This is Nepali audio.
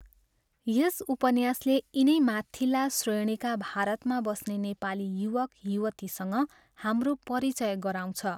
यस उपन्यासले यिनै माथिल्ला श्रेणीका भारतमा बस्ने नेपाली युवक युवतीसँग हाम्रो परिचय गराउँछ।